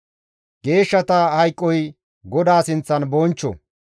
Geeshshata hayqoy GODAA sinththan bonchcho.